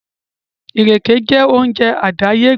Ìrèké jẹ́ oje àdàyébá